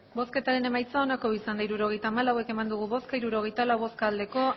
hirurogeita hamalau eman dugu bozka hirurogeita lau bai